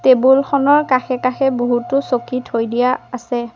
Table খনৰ কাষে কাষে বহুতো চকী থৈ দিয়া আছে।